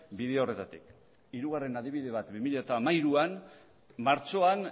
bide horretatik hirugarren adibide bat bi mila hamairuan martxoan